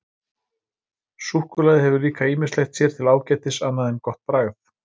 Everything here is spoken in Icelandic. Súkkulaði hefur líka ýmislegt sér til ágætis annað en gott bragð.